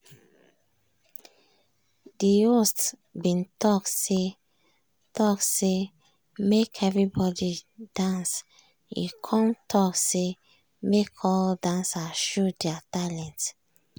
de host bin talk say talk say make everybody dance e come talk say make all dancer show their talent.